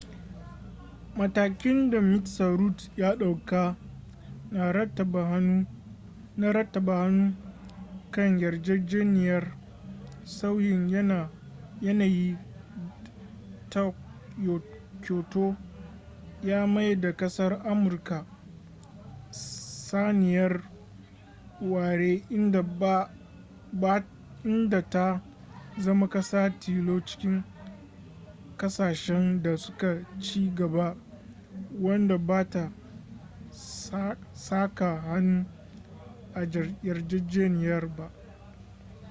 matakin da mista rudd ya dauka na rattaba hannu kan yarjejeniyar sauyin yanayi ta kyoto ya maida kasar amurka saniyar ware inda ta zama kasa tilo cikin kasashen da su ka ci gaba wadda ba ta saka hannu a yarjejeniyar ba